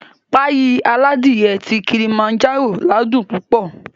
Páyì aládìe ti Kilimanjaro ládùn púpọ̀